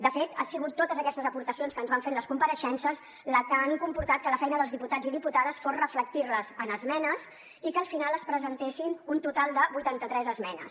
de fet han sigut totes aquestes aportacions que ens van fer en les compareixences les que han comportat que la feina dels diputats i diputades fos reflectir les en esmenes i que al final es presentessin un total de vuitanta tres esmenes